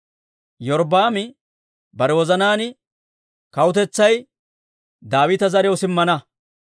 Iyorbbaami bare wozanaan, «Kawutetsay Daawita zariyaw simmana.